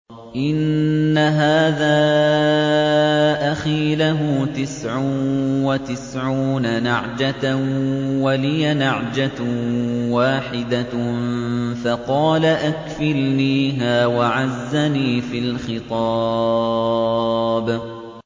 إِنَّ هَٰذَا أَخِي لَهُ تِسْعٌ وَتِسْعُونَ نَعْجَةً وَلِيَ نَعْجَةٌ وَاحِدَةٌ فَقَالَ أَكْفِلْنِيهَا وَعَزَّنِي فِي الْخِطَابِ